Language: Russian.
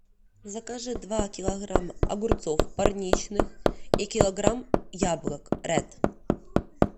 закажи два килограмма огурцов парничных и килограмм яблок рэд